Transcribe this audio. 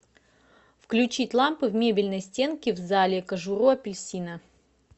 включить лампы в мебельной стенке в зале кожуру апельсина